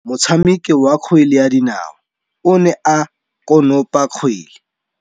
Motshameki wa kgwele ya dinaô o ne a konopa kgwele.